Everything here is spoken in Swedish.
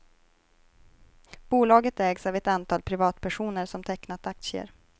Bolaget ägs av ett antal privatpersoner som tecknat aktier.